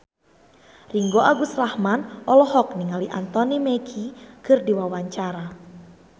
Ringgo Agus Rahman olohok ningali Anthony Mackie keur diwawancara